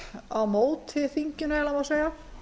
á móti þinginu ef svo má segja